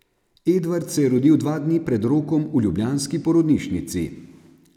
Edvard se je rodil dva dni pred rokom v ljubljanski porodnišnici.